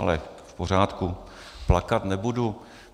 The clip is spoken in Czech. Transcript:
Ale v pořádku, plakat nebudu.